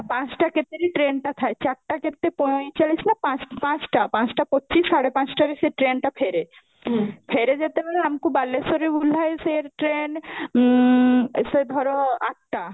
ପାଞ୍ଚଟା କେତେରେ train ଟା ଥାଏ ଚାରଟା କେତେ ପଇଁଚାଳିଶ ନା ପାଞ୍ଚଟା ପାଞ୍ଚଟା ପାଞ୍ଚଟା ପଚିଶ ସାଢେ ପାଞ୍ଚଟା ରେ ସେ train ଟା ଫେରେ ଫେରେ ଯେତେ ବେଳେ ଆମକୁ ବାଲେଶ୍ବରୁ ଓଲ୍ହାଏ ସିଏ train ସେ ଧାର ଆଠଟା